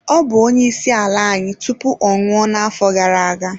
Ọ bụ onyeisiala anyị tupu ọ nwụọ n'afọ gara aga.